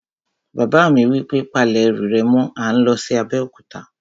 Bàbá mi wí pé, "Pa lẹ̀ ẹrù rẹ̀ mọ́! à ń lọ sí Abéòkúta